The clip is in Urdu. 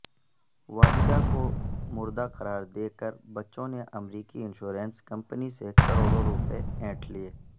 والدہ کو مردہ قرار دیکر بچوں نے امریکی انشورنس کمپنی سے کروڑوں روپے اینٹھ لیے